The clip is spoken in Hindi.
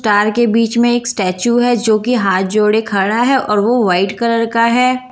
तार के बीच में एक स्टैचू है जो कि हाथ जोड़े खड़ा है और वो वाइट कलर का है।